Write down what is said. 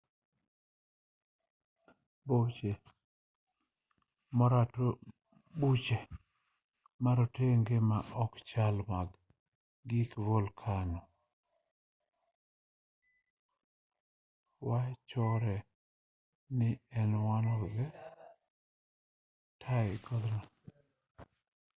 boche marotenge ma okchal mag gig volkano wachore ni ne one e tie godno